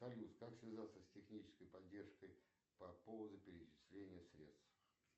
салют как связаться с технической поддержкой по поводу перечисления средств